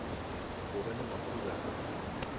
go ba le makhura a